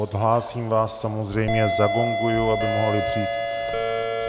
Odhlásím vás samozřejmě, zagonguji, aby mohli přijít...